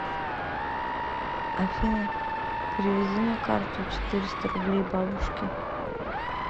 афина переведи на карту четыреста рублей бабушке